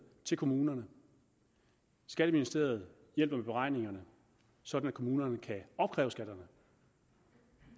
til kommunerne skatteministeriet hjælper med beregningerne sådan at kommunerne kan opkræve skatterne